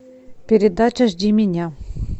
передача жди меня